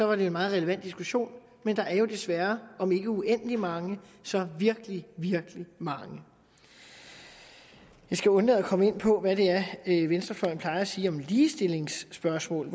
var det en meget relevant diskussion men der er jo desværre om ikke uendelig mange så virkelig virkelig mange jeg skal undlade at komme ind på hvad det er venstrefløjen plejer at sige om ligestillingsspørgsmål